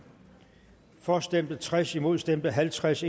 for stemte tres imod stemte halvtreds